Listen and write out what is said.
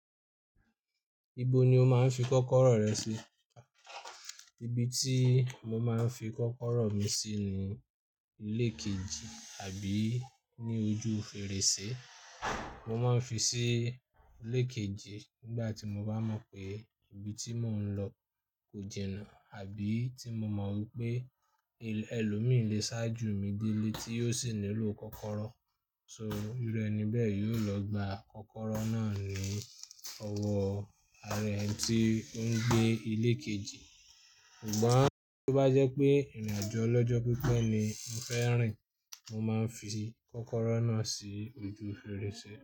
Ibo ni o máa ń fi kọ́kọ́rọ́ rẹ sí? Ibi tí mo máa ń fi kọ́kọ́rọ́ mi sí ni ilé kejì àbí ní ojú fèrèsé. Mo máa ń fi sí ilé kejì nígbà tí mo bá mọ̀ pé ibi tí mò ń lọ kò jìnà àbí tí mo mọ̀ wípé ẹlòmíì lé sá jù mi dé ilé tí yóò sì nílò kọ́kọ́rọ́. So, irú ẹni bẹ́ẹ̀ yóò lọ gba kọ́kọ́rọ́ náà ní ọwọ́ àra eni tí ń gbé ilé kejì. Ṣùgbọ́n tí ó bá jẹ́ pé ìrìn-àjò olọ́jọ́ pípẹ́ ni mo fẹ́ rìn, mo máa ń fi kọ́kọ́rọ́ náà sí ojú fèrèsé.